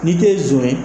N'i tɛ zon ye